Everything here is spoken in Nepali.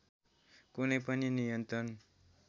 कुनै पनि नियन्त्रण